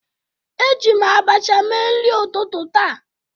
Eji m abacha mee nri ụtụtụ taa.